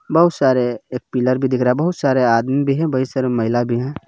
बहुत सारे एक पिलर भी दिख रहा हे। बहुत सारे आदमी भी है। बहुत सारे महिला भी है।